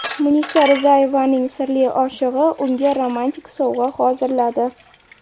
Munisa Rizayevaning sirli oshig‘i unga romantik sovg‘a hozirladi .